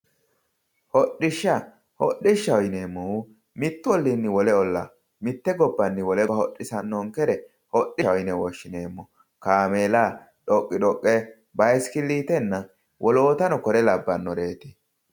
Hodhishsha hodhishsha yineemo woyiite mitte gobbani wole gobba hodhisanoha kaameela, bayiiskiliite woleno kone lawanoreetti